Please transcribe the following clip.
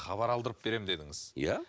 хабар алдырып берем дедіңіз иә